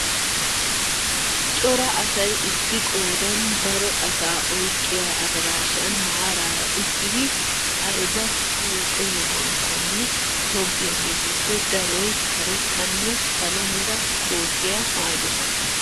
Cora asay issi qoodan daro asaa oyqqiyaa adaraashan maarara uttidi ayba huuphpphe yohuwanakkonne tobettiyaagetuppe daroy karettanne salo mera kootiyaa maayidosona.